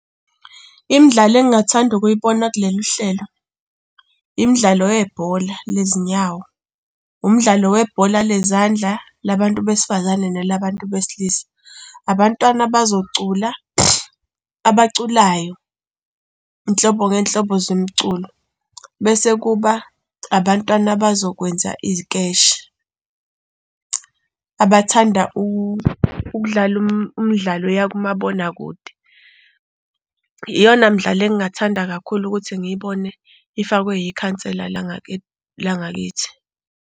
Imidlalo engingathanda ukuyibona kulolu hlelo, imidlalo yebhola lezinyawo, umdlalo webhola lezandla labantu besifazane nelabantu besilisa. Abantwana bazocula, abaculayo nhlobo ngey'nhlobo zomculo, bese kuba abantwana abazokwenza izikeshe. Abathanda ukudlala umdlalo eyakumabonakude. Iyona mdlalo engathanda kakhulu ukuthi ngiyibone ifakwe yikhansela la ngakithi.